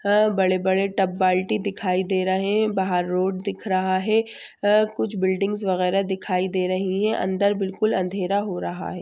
हां बड़े-बड़े तबयटी दिखाई दे रहे हैं बाहर रोड दिख रहा हैं अ कुछ बिल्डिंग महारथ दिखाई दे रही हैं अंदर बिलकुल अँधेरा हो रहा हैं।